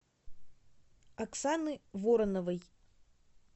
оксаны вороновой